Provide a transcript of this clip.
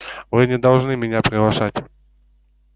вы не должны меня приглашать